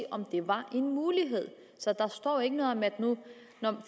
om det var en mulighed så der står jo ikke noget om at